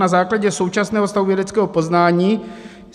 Na základě současného stavu vědeckého poznání..."